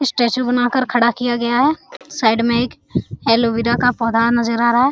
Statue बना कर खड़ा किया गया है साइड में एक एलोवेरा का पौधा नजर आ रहा है।